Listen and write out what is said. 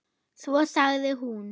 Svo sagði hún